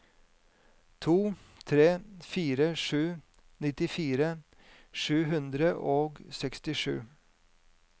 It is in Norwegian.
to tre fire sju nittifire sju hundre og sekstisju